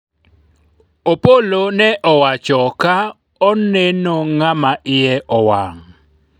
Opollo ne owacho ka oneno ng'ama iye owang'